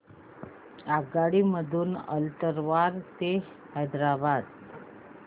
आगगाडी मधून अलवार ते हैदराबाद